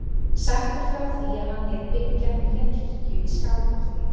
Sagt er frá því að hann lét byggja nýja kirkju í Skálholti.